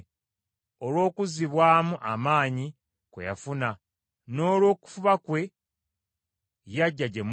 Olw’okuzzibwamu amaanyi kwe yafuna, n’olw’okufuba kwe, yajja gye muli.